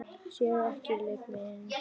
Sér ekki leik minn.